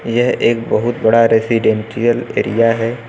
यह एक बहुत बड़ा रेजिडेंशियल एरिया है।